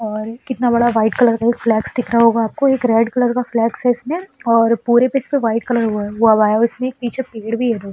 और कितना बड़ा वाइट कलर का फ्लेक्स दिख रहा होगा आपको। एक रेड कलर का फ्लेक्स है इसमें और पूरे पे इसपे वाइट कलर हुआ हुआ है। उसमें एक पीछे पेड़ भी है दो --